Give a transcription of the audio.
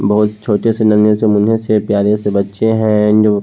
बहोत छोटे से नन्हे से मुन्ने से प्यारे से बच्चें हे जो--